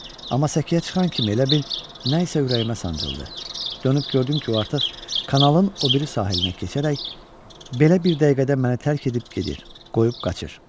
Amma səkiyə çıxan kimi elə bil nə isə ürəyimə sancıldı, dönüb gördüm ki, o artıq kanalın o biri sahilinə keçərək, belə bir dəqiqədə məni tərk edib gedir, qoyub qaçır.